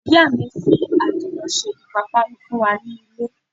Ìyá mi fi adiro ṣe ipapanu fún wá nílé.